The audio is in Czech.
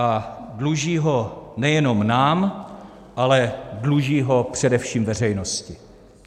A dluží ho nejenom nám, ale dluží ho především veřejnosti.